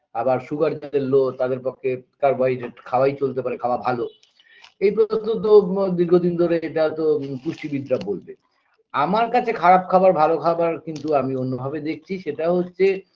আবার sugar যাদের low তাদের পক্ষে carbohydrate খাওয়াই চলতে পারে খাওয়া ভালো এ তো দীর্ঘদিন ধরে এটাতো পুষ্টিবিদরা বলবে আমার কাছে খারাপ খাবার ভালো খাবার কিন্তু আমি অন্য ভাবে দেখছি সেটা হচ্ছে